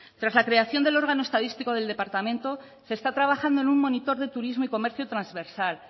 tras la creación del órgano estadístico del departamento se está trabajando en un monitor de turismo y comercio transversal